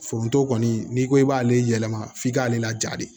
Foronto kɔni n'i ko k'i b'ale yɛlɛma f'i k'ale laja de